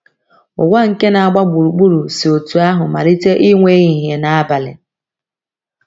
Ụwa nke na - agba gburugburu si otú ahụ malite inwe ehihie na abalị.